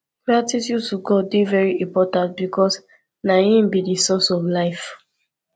gratitude to god de very important because na im be di source of life